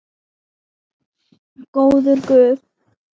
Góður guð.